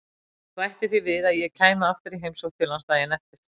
Ég bætti því við að ég kæmi aftur í heimsókn til hans daginn eftir.